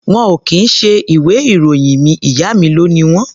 Wọn ò kì í ṣe ìwé-ìròyìn mi. Ìyá mi ló ni wọ́n.